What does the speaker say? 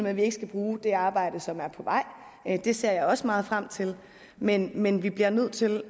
at vi ikke skal bruge det arbejde som er på vej det ser jeg også meget frem til men men vi bliver nødt til